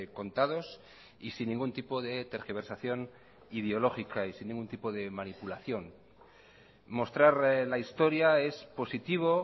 contados y sin ningún tipo de tergiversación ideológica y sin ningún tipo de manipulación mostrar la historia es positivo